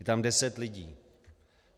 Je tam deset lidí.